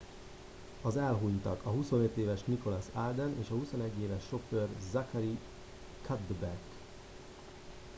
az elhunytak a 25 éves nicholas alden és a 21 éves sofőr zachary cuddeback